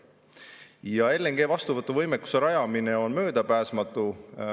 Ja LNG vastuvõtu võimekuse rajamine on möödapääsmatu.